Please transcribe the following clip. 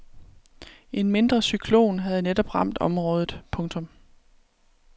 En mindre cyklon havde netop ramt området. punktum